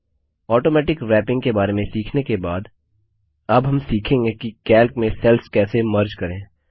automatic wrapping के बारे में सीखने के बाद अब हम सीखेंगे कि कैल्क में सेल्स कैसे मर्जविलीन करें